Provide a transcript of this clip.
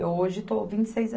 Eu hoje estou vinte e seis an